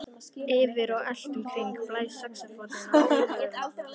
Yfir og allt um kring blæs saxófónninn af óumræðilegri blíðu.